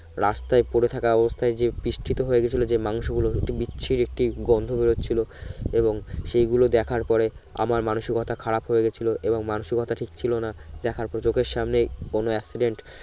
রাস্তায় পরে থাকা অবস্তায় যে পৃষ্ঠি তো হয়ে গেছিলো যে মাংস গুলো বিচ্ছিরি একটি গোন্ধ বের হচ্ছিলো এবং সে গুলো দেখার পরে আমার মানুষীকতা খারাপ হয়ে গেছিলো এবং মানুষীকতা ঠিক ছিলো না দেখা পর চোখের সামনে কোন accident